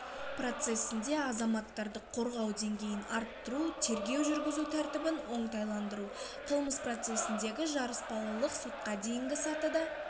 процесінде азаматтарды қорғау деңгейін арттыру тергеу жүргізу тәртібін оңтайландыру қылмыс процесіндегі жарыспалылық сотқа дейінгі сатыда